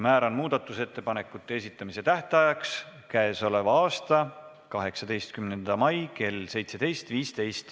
Määran muudatusettepanekute esitamise tähtajaks 18. mai kell 17.15.